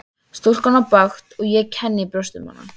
Stúlkan á bágt og ég kenni í brjósti um hana.